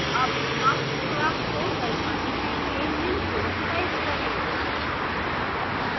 अब marks class को दर्शाने के लिए निम्न code type करें